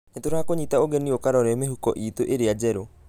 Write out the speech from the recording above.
Nĩ tũrakũnyita ũgeni ũkarore mĩhuko itũ ĩrĩa njerũ.